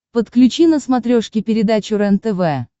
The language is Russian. подключи на смотрешке передачу рентв